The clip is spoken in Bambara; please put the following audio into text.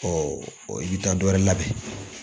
Ɔ o ye dan dɔ wɛrɛ labɛn